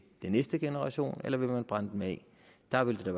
næste generation eller vil man brænde dem af der vil det